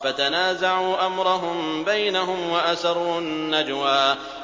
فَتَنَازَعُوا أَمْرَهُم بَيْنَهُمْ وَأَسَرُّوا النَّجْوَىٰ